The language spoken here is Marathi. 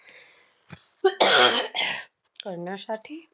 करण्यासाठी